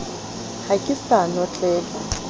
ha ke sa notlela o